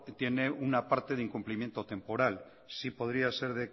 tiene una parte de incumplimiento temporal sí podría ser